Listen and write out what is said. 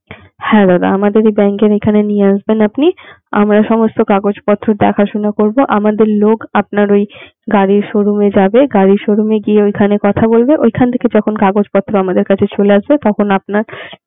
হ্যাঁ দাদা আমাদের এই bank এর এখানে নিয়ে আসবেন আপনি আমরা সব কাগজপত্র দেখাশোনা করবো আমাদের লোক আপনার ওই গাড়ির showroom এ যাবে, গাড়ির showroom এর গিয়ে ঐখান এ কথা বলবে ঐখান থেকে যখন কাগজপত্র আমাদের কাছে চলে আসবে তখন আপনার